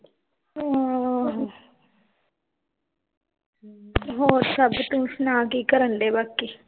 ਆਹ ਹੋਰ ਸਭ ਤੂੰ ਸੁਣਾ ਕੀ ਕਰਨ ਦੇ ਬਾਕੀ?